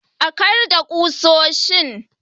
A karedda ƙusoshin